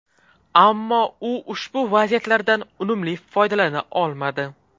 Ammo u ushbu vaziyatlardan unumli foydalana olmadi.